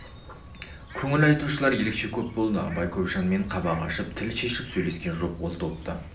көңіл айтушылар ерекше көп болды абай көп жанмен қабақ ашып тіл шешіп сөйлескен жоқ ол топты